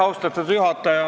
Austatud juhataja!